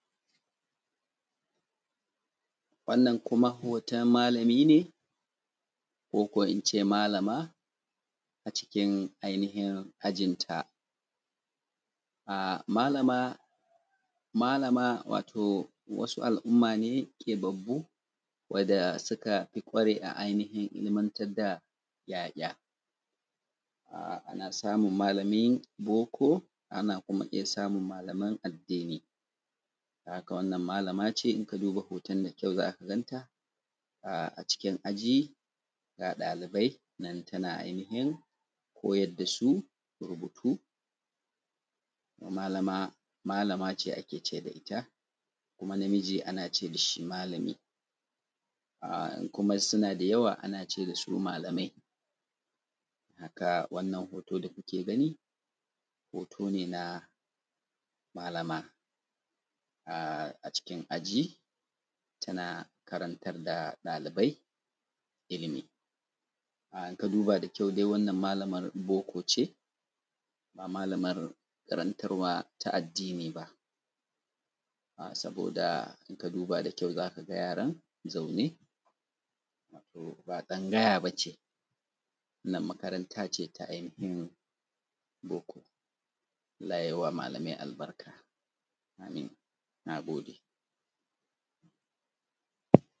wannan kuma hoton malami ne ko kuwa in ce malama a cikin ainihin ajinta malama malama wato wasu al’umma ne keɓaɓɓu wadda suka ƙware a ainihin ilimantar da ‘ya’ya ana samun malamin boko ana kuma iya samun malaman addini don haka wannan malama ce idan ka duba hoton da kyau za ka gan ta a cikin aji ga ɗalibai nan tana ainihin koyar da su rubutu malama malama ce ake ce da ita kuma namiji ana ce da shi malami in kuma suna da yawa ana ce da su malamai don haka wannan hoto da kuke gani hoto ne na malama a cikin aji tana karantar da ɗalibai ilimi idan ka duba da kyau dai wannan malamar boko ce ba malamar karantarwa ta addini ba saboda idan ka duba da kyau za ka ga yaran zaune ba tsangaya ba ce wannan makaranta ce ta ainihin boko allah ya yi wa malamai albarka amin na gode